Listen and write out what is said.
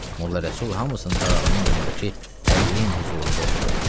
Molla Rəsul hamısının təlağını yanındakı ədlin hüzurunda oxudu.